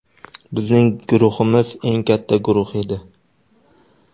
Bizning guruhimiz eng katta guruh edi.